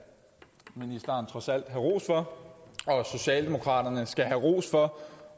ministeren trods alt have ros for og socialdemokraterne skal have ros for